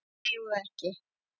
Við megum það ekki.